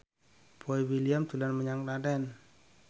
Boy William dolan menyang Klaten